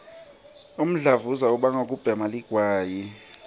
umdlavuza ubangwa kubhema ligwayi